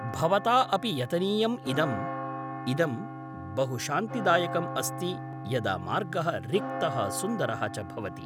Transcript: भवता अपि यतनीयम् इदम्। इदं बहु शान्तिदायकम् अस्ति यदा मार्गः रिक्तः सुन्दरः च भवति।